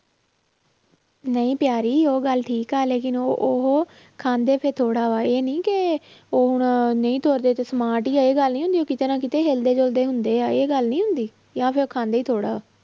ਨਹੀਂ ਪਿਆਰੀ ਉਹ ਗੱਲ ਠੀਕ ਆ ਲੇਕਿੰਨ ਉਹ ਉਹ ਖਾਂਦੇ ਤੇ ਥੋੜ੍ਹਾ ਵਾ ਇਹ ਨੀ ਕਿ ਉਹ ਹੁਣ ਨਹੀਂ ਤੁਰਦੇ ਤੇ smart ਹੀ ਆ ਇਹ ਗੱਲ ਨੀ ਹੁੰਦੀ, ਕਿਤੇ ਨਾ ਕਿਤੇ ਹਿਲਦੇ ਜੁਲਦੇ ਹੁੰਦੇ ਆ, ਇਹ ਗੱਲ ਨੀ ਹੁੰਦੀ ਜਾਂ ਫਿਰ ਖਾਂਦੇ ਹੀ ਥੋੜ੍ਹਾ।